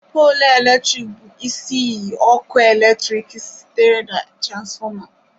Polu eletrik bụ isi iyi ọkụ eletrik sitere na transformer